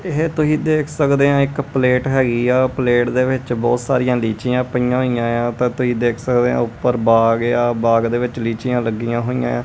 ਇਹ ਤੁਹੀ ਦੇਖ ਸਕਦੇ ਐਂ ਇੱਕ ਪਲੇਟ ਹੈਗੀ ਆ ਪਲੇਟ ਦੇ ਵਿੱਚ ਬਹੁਤ ਸਾਰੀਆਂ ਲੀਚੀਆਂ ਪਈਆਂ ਹੋਈਆਂ ਏ ਆ ਤਾਂ ਤੁਹੀ ਦੇਖ ਸਕਦੇ ਔ ਉੱਪਰ ਬਾਗ ਏ ਆ ਬਾਗ ਦੇ ਵਿੱਚ ਲੀਚੀਆਂ ਲੱਗੀਆਂ ਹੋਈਐਂ।